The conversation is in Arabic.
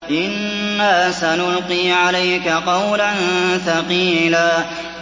إِنَّا سَنُلْقِي عَلَيْكَ قَوْلًا ثَقِيلًا